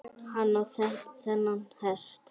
Hann á þennan hest.